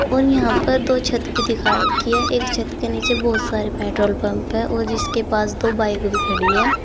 और यहां पर दो छत भी दिखा रखी है एक छत के नीचे बहुत सारे पेट्रोल पंप है और जिसके पास दो बाइक भी खड़ी है।